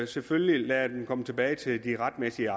selvfølgelig lade dem komme tilbage til de retmæssige